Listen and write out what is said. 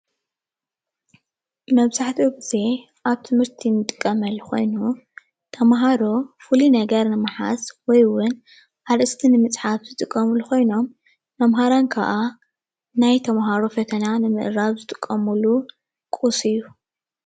መብዛሓቱኡ ግዜ ኣብ ትምህርቲ ንጥቀመሉ ኮይኑ ተማሃሮ ፍሉይ ነገር ንምሓዝ ወይ ዉን ኣርእስቲ ንምፃሓፍ ዝጥቀሙሉ ኮይኖም መማሃራን ከዓ ናይ ተማሃሮ ፍተና ንምእራም ዝጥቀሙሉ ቁስ እዩ።